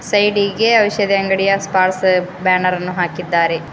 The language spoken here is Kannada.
ಸೈಡಿಗೆ ಔಷಧಿ ಅಂಗಡಿಯ ಸ್ಪಾನ್ಸರ್ ಬ್ಯಾನರ್ ಅನ್ನು ಹಾಕಿದ್ದಾರೆ.